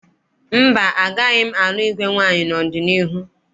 Mba, agaghị m alụ igwe nwaanyị n'ọdịniihu